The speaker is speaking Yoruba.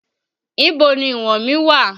Ibo ni ìwọ̀n mí wà?